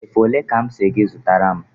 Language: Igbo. Efe ole ka m si gị zụtara m?